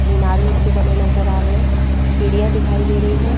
मीनारें उसके बने नजर आ रहे हैं सीढ़ियां दिखाई दे रही हैं।